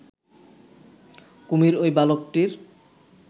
কুমির ওই বালকটির